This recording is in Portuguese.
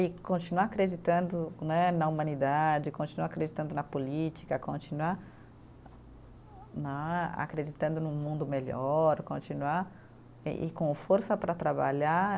E continuar acreditando né na humanidade, continuar acreditando na política, continuar né acreditando num mundo melhor, continuar eh e com força para trabalhar.